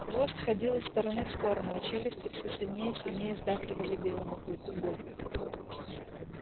хвост ходил из стороны в сторону а челюсти всё сильнее и сильнее сдавливали белому клыку горло